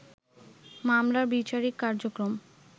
মামলার বিচারিক কার্যক্রম